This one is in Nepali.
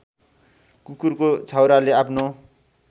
कुकुरको छाउराले आफ्नो